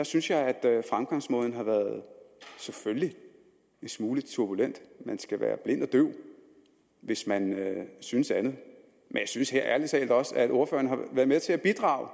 synes at fremgangsmåden har været en smule turbulent man skal være blind eller døv hvis man synes andet men jeg synes ærlig talt også at ordføreren har været med til at bidrage